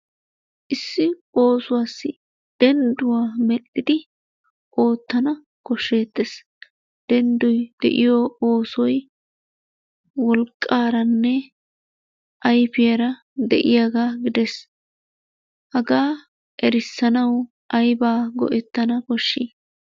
Issi oosuwaassi dendduwa medhdhidi oottana kosheettees, denddoy de'iyo oosoy wolqqaaranne ayfiyaara deiyagaa gidees. Hagaa erissanawu ayba go'etana koshi?